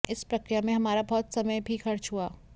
इस प्रक्रिया में हमारा बहुत समय भी खर्च हुआ